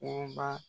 Worobaa